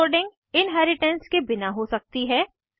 overloading inheritance के बिना हो सकती है